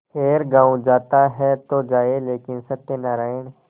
खैर गॉँव जाता है तो जाए लेकिन सत्यनारायण